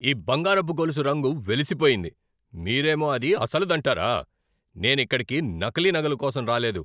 ఈ బంగారపు గొలుసు రంగు వెలిసిపోయింది, మీరేమో అది అసలుదంటారా? నేనిక్కడకి నకిలీ నగల కోసం రాలేదు!